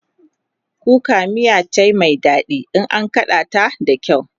kuka miya cai Mai daɗi in an kaɗa ta da kyau